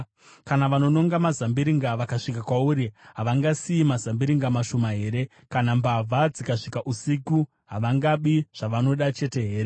Kana vanononga mazambiringa vakasvika kwauri, havangasiyi mazambiringa mashoma here? Kana mbavha dzikasvika usiku, havangabi zvavanoda chete here?